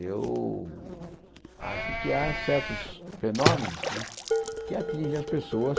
Eu acho que há certos fenômenos né que atingem as pessoas